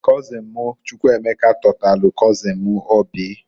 Kọzịn m Chukwuemeka tọtalụ kọzịn m Oby.